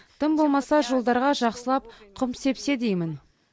тым болмаса жолдарға жақсылап құм сепсе деймін